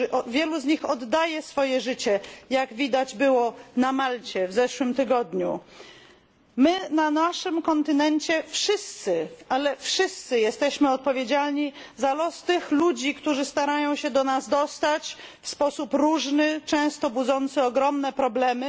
Wielu z nich oddaje swoje życie, jak widać było na Malcie w zeszłym tygodniu. My wszyscy na naszym kontynencie jesteśmy odpowiedzialni za los tych ludzi, którzy starają się do nas dostać, w sposób różny, często budzący ogromne problemy.